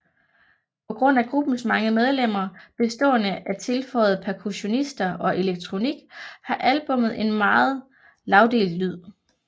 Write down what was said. På grund af gruppens mange medlemmer bestående af tilføjede percussionister og elektronik har albummet en meget lagdelt lyd